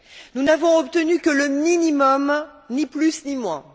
Nous n'avons obtenu que le minimum, ni plus ni moins.